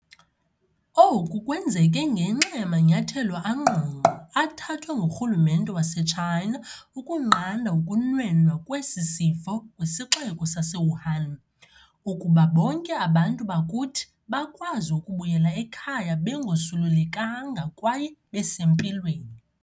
Oku kwenzeke ngenxa yamanyathelo angqongqo athathwe ngurhulumente wase-China ukunqanda ukunwenwa kwesi sifo kwisixeko sase-Wuhan, ukuba bonke abantu bakuthi bakwazi ukubuyela ekhaya bengosulelekanga kwaye besempilweni.